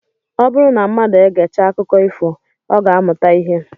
Ọ bụrụ na mmadụ egechaa akụkọ ifo, ọ ga-amụta ihe